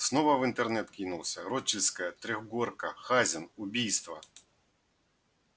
снова в интернет кинулся рочдельская трёхгорка хазин убийство